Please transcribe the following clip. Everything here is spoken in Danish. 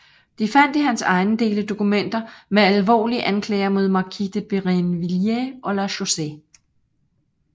De fandt i hans ejendele dokumenter med alvorlige anklager mod markise de Brinvilliers og La Chaussee